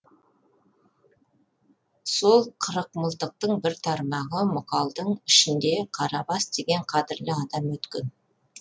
сол қырықмылтықтың бір тармағы мұқалдың ішінде қарабас деген қадірлі адам өткен